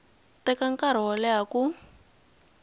teka nkarhi wo leha ku